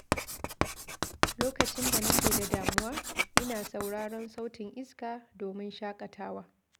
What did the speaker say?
Lokacin da nake da damuwa, ina sauraron sautin iska domin shakatawa.